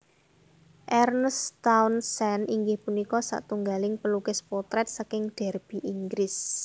Ernest Townsend inggih punika satunggaling pelukis potrèt saking Derby Inggris